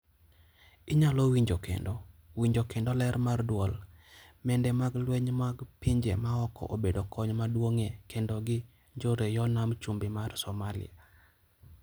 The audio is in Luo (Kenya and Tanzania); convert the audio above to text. Inyalo winjo kendo: Winjo kendo ler mar duol,:Mende mag lweny mag pinje maoko obedo kony maduong' e kedo gi njoreyoo nam chumbi mar Somalia,